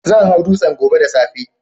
Zan hau dutsen gobe da safe.